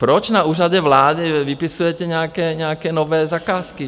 Proč na Úřadě vlády vypisujete nějaké nové zakázky?